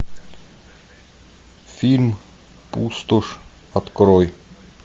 фильм пустошь открой